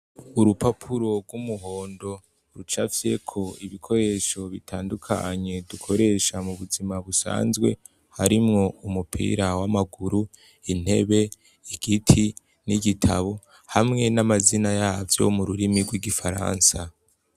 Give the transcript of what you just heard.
Urupapuro rw'umuhondo rucafyeko ibikoresho bitandukanye dukoresha mu buzima busanzwe, harimwo umupira w'amaguru, intebe, igiti, n'igitabo hamwe n'amazina yavyo mu rurimi rw'igifaransa.